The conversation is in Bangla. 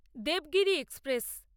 দেবগিরি এক্সপ্রেস